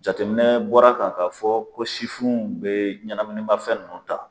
Jateminɛ bɔra kan' fɔ ko sifinw bɛ ɲɛnaminima fɛn nunnu ta.